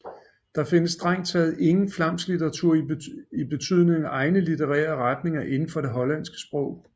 Der findes strengt taget ingen egen flamsk litteratur i betydningen egne litterære retninger inden for det hollandske sprog